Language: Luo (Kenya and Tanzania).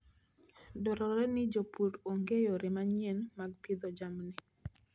Dwarore ni jopur ong'e yore manyien mag pidho jamni.